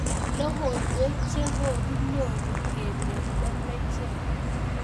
Logoiwek cho ko kakenyoru kele lembechek.